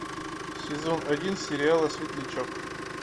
сезон один сериала светлячок